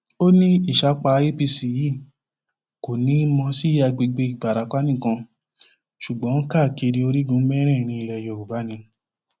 ó ní ìsapá apc yìí kò ní í mọ sí àgbègbè ìbarapá nìkan ṣùgbọn káàkiri orígun mẹrẹẹrin ilẹ yorùbá ni